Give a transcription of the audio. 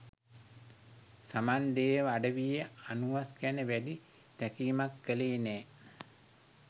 සමන් දේව අඩවියේ අනුහස් ගැන වැඩි තැකීමක් කළේ නෑ.